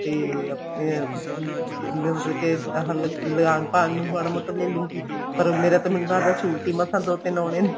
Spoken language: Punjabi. ਤੇ ਆਪਣਾ ਅਹ ਆਪਣਾ ਮਤਲਬ ਕੇ ਆਹ ਲਾਨ ਪਾਨ ਨੂੰ ਮਾੜਾ ਮੋਟਾ ਲੈਲੂੰਗੀ ਪਰ ਮੇਰਾ ਤੇ ਮੈਨੂੰ ਲੱਗਦਾ suit ਹੀ ਮਸਾ ਦੋ ਤਿੰਨ ਆਉਣੇ ਨੇ